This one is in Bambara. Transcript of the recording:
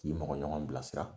K'i mɔgɔ ɲɔgɔn bilasira